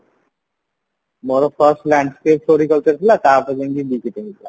ମୋର first landscape Floriculture ଥିଲା ତାପରେ ଯାଇଙ୍କି ଥିଲା